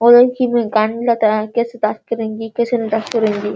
और कितना गन्दा तरीका से बात करेगी किसन बात करूंगी